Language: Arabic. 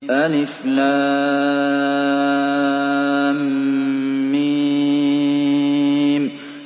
الم